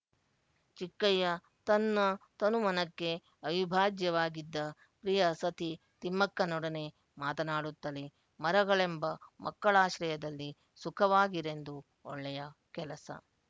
ಚಿಕ್ಕಯ್ಯ ತನ್ನ ತನುಮನಕ್ಕೆ ಅವಿಭಾಜ್ಯವಾಗಿದ್ದ ಪ್ರಿಯ ಸತಿ ತಿಮ್ಮಕ್ಕನೊಡನೆ ಮಾತಾನಾಡುತ್ತಲೆ ಮರಗಳೆಂಬ ಮಕ್ಕಳಾಶ್ರಯದಲ್ಲಿ ಸುಖವಾಗಿರೆಂದು ಒಳ್ಳೆಯ ಕೆಲಸ